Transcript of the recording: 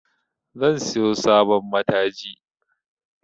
Zan siyo sabon mataji